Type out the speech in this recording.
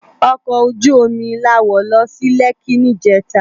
Òkò ójú ómi lá wó lò si Lèki nijètá